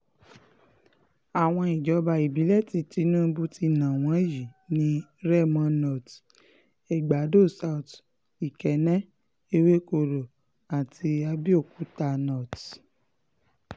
àwọn ìjọba ìbílẹ̀ tí tinubu ti ná wọn yìí ni remo north egbàdo south ikenne ewekoro àti abéokúta north